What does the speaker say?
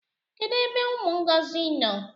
Kedu ebe umu Ngozi no?